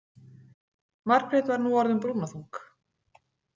Margrét var nú orðin brúnaþung.